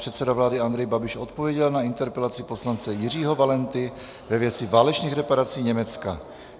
Předseda vlády Andrej Babiš odpověděl na interpelaci poslance Jiřího Valenty ve věci válečných reparací Německa.